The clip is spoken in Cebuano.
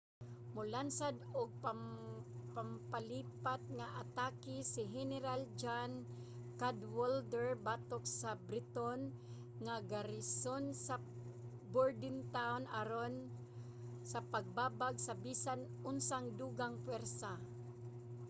molansad og pampalipat nga atake si heneral john cadwalder batok sa briton nga garison sa bordentown aron sa pagbabag sa bisan unsang dugang pwersa